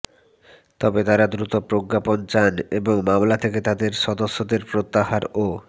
তবে তাঁরা দ্রুত প্রজ্ঞাপন চান এবং মামলা থেকে তাঁদের সদস্যদের প্রত্যাহার ও